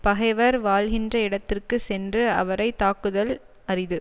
பகைவர் வாழ்கின்ற இடத்திற்கு சென்று அவரை தாக்குதல் அரிது